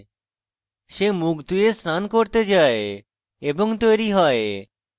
সে মুখ ধুয়ে স্নান করতে যায় এবং তৈরী হয়